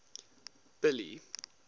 billy